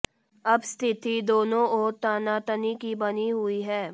अब स्थिति दोनों ओर तनातनी की बनी हुई है